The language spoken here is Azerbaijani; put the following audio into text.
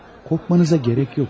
Qorxmanıza gərək yox.